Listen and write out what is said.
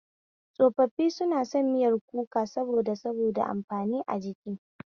Tsofaffi suna son miyar kuka saboda saboda amfanin a jiki